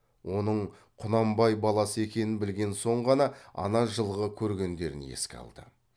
оның құнанбай баласы екенін білген соң ғана ана жылғы көргендерін еске алды